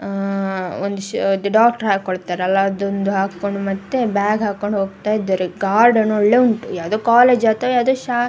ಅಹ್ ಒಂದ್ shirt doctor ಹಾಕೊಳ್ಳತ್ತಾರಲ್ಲಾ ಅದೊಂದು ಹಾಕೊಂಡು ಮತ್ತೆ ಬ್ಯಾಗ್ ಹಾಕೊಂಡ್ ಹೋಗತ್ತಾ ಇದಾರೆ ಗಾರ್ಡನ್ ಒಳ್ಳೆ ಉಂಟು ಯಾವದೋ ಕಾಲೇಜ್ ಅಥವಾ ಶಾ --